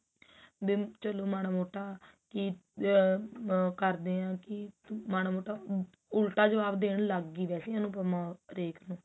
ਵੀ ਚਲੋ ਮਾੜਾ ਮੋਟਾ ਕੀ ਅਮ ਕਰਦੇ ਆ ਕੀ ਮਾੜਾ ਮੋਟਾ ਹਮ ਉਲਟਾ ਜਵਾਬ ਦੇਣ ਲੱਗਗਈ ਵੇਸੇ ਅਨੁਪਮਾ ਰੇਖਾ ਨੂੰ